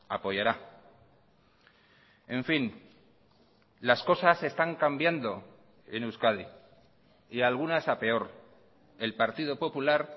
apoyará en fin las cosas están cambiando en euskadi y algunas a peor el partido popular